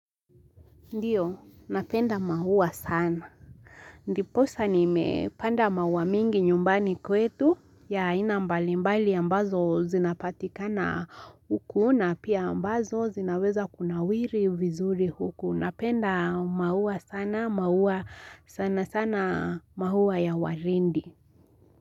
Ndiyo, napenda maua sana. Ndiposa nimepanda maua mingi nyumbani kwetu, ya aina mbalimbali ambazo zinapatikana huku na pia ambazo zinaweza kunawiri vizuri huku. Napenda maua sana, maua sana sana maua ya waridi.